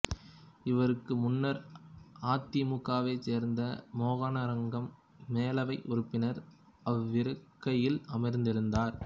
இவருக்கு முன்னர் அதிமுகவைச் சேர்ந்த மோகனரங்கம் மேலவை உறுப்பினர் அவ்விருக்கையில் அமர்ந்திருந்தார்